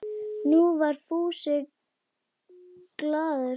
Nú var Fúsi glaður.